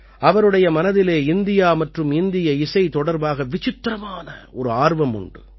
அவருடைய மனதிலே இந்தியா மற்றும் இந்திய இசை தொடர்பாக விசித்திரமான ஒரு ஆர்வம் உண்டு